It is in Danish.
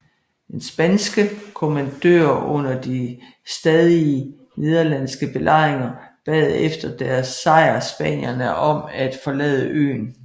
Den spanske kommandør under de stadige nederlandske belejringer bad efter deres sejr spanierne om at forlade øen